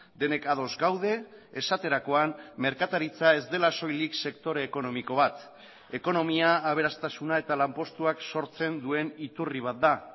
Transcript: denek ados gaude esaterakoan merkataritza ez dela soilik sektore ekonomiko bat ekonomia aberastasuna eta lanpostuak sortzen duen iturri bat da